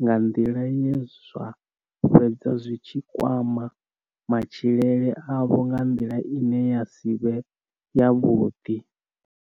nga nḓila ye zwa fhedza zwi tshi kwama matshilele avho nga nḓila ine ya si vhe yavhuḓi.